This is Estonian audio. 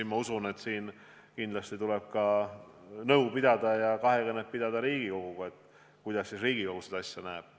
Ma usun, et siin tuleb kindlasti nõu pidada ka Riigikoguga, et vaadata, kuidas Riigikogu seda asja näeb.